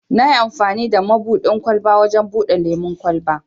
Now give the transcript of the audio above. Nayi amfani da mabuɗin ƙwalba wajen buɗe lemun kwalba.